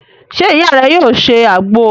Se iya re yoo se agbo?